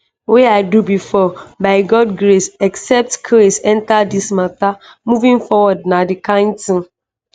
wey i do before by god's grace except crase enta dis mata moving forward na di kain tin